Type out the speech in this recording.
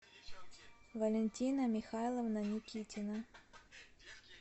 валентина михайловна никитина